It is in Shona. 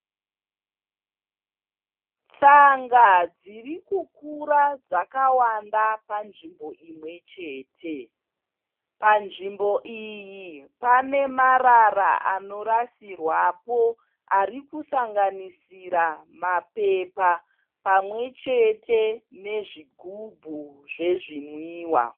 Tsanga dzirikukura dzakawanda panzvimbo imwechete. Panzvimbo iyi panemarara anorasirwapo arikusanganisira mapepa pamwechete nezvigumbu zvezvinwiwa.